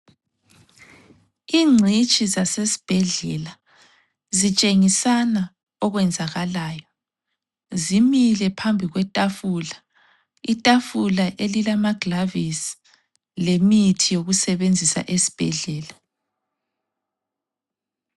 Ingcitshi zasesibhedlela zitshengisana okwenzakalayo zimile phambi kwetafula ,itafula elilama gilavisi lemithi yokusebenzisa esbhedlela